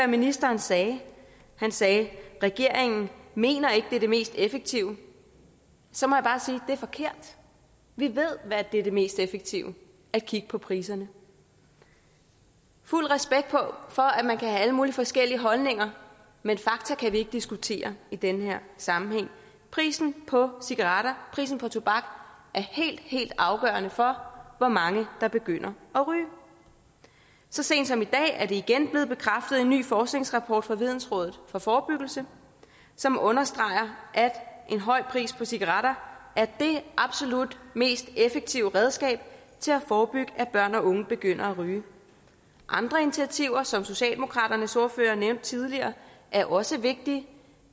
ministeren sagde han sagde regeringen mener ikke det er det mest effektive så må jeg bare sige det er forkert vi ved at det er det mest effektive at kigge på priserne fuld respekt for at man kan have alle mulige forskellige holdninger men fakta kan vi ikke diskutere i den her sammenhæng prisen på cigaretter prisen på tobak er helt helt afgørende for hvor mange der begynder at ryge så sent som i dag er det igen blevet bekræftet i en ny forskningsrapport fra vidensråd for forebyggelse som understreger at en høj pris på cigaretter er det absolut mest effektive redskab til at forebygge at børn og unge begynder og ryge andre initiativer som socialdemokratiets ordfører nævnte tidligere er også vigtige